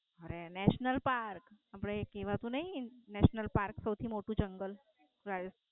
હવે National Park. આપડે કેવાતું નઈ સૌથી મોટું જંગલ